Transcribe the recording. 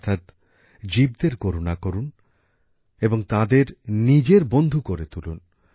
অর্থাৎ জীবদের করুণা করুন এবং তাদের নিজের বন্ধু করে তুলুন